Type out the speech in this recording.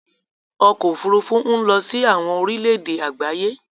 Ọkọ̀ òfurufú ń lọ sí àwọn orílẹ èdè àgbáyé.